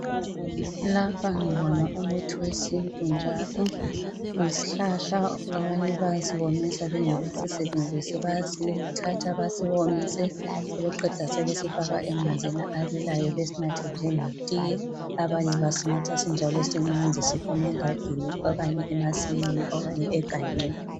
Lapha ngibona umuthi wesintu njalo uyisihlahla abanye bayasiwomisa bengakasisebenzisi bayasithatha basiwomise sebeqeda sebesifaka emanzini abilayo besinathe njengetiye, abanye basinatha sinjalo simanzi siphuma engadini, abanye emasimini abanye egangeni.